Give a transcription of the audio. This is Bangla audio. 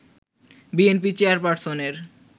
বিএনপি চেয়ারপারসনের